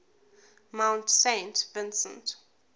mount saint vincent